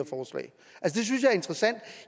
interessant